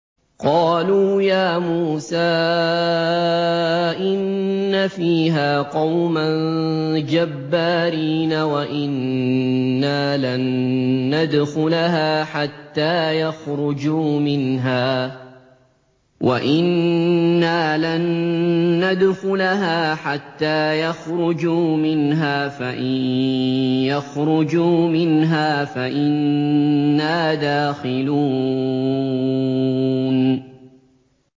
قَالُوا يَا مُوسَىٰ إِنَّ فِيهَا قَوْمًا جَبَّارِينَ وَإِنَّا لَن نَّدْخُلَهَا حَتَّىٰ يَخْرُجُوا مِنْهَا فَإِن يَخْرُجُوا مِنْهَا فَإِنَّا دَاخِلُونَ